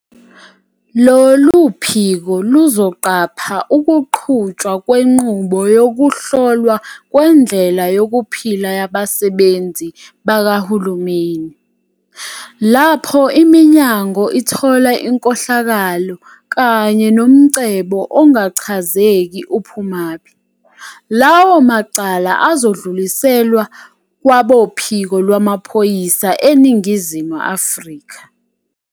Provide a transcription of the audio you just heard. Lolu phiko luzoqapha ukuqhutshwa kwenqubo yokuhlolwa kwendlela yokuphila yabasebenzi bakahulumeni. Lapho iminyango ithola inkohlakalo kanye nomcebo ongachazeki uphumaphi, lawo macala azodluliselwa kwaboPhiko Lwamaphoyisa eNingizimu Afrika.